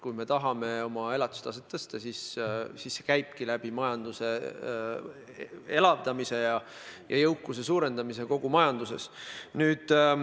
Kui me tahame oma elatustaset tõsta, siis see käibki majanduse elavdamise ja jõukuse suurendamise abil kogu majanduses.